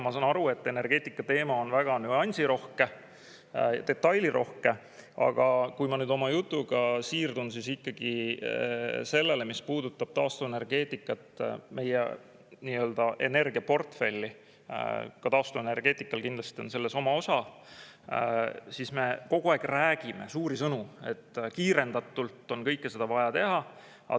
Ma saan aru, et energeetikateema on väga nüansirohke, väike detailirohke, aga kui ma oma jutuga siirdun ikkagi sellele, mis puudutab taastuvenergeetikat, meie energiaportfelli, kus ka taastuvenergeetikal kindlasti on oma osa, siis me kogu aeg räägime suuri sõnu, et kiirendatult on kõike seda vaja teha.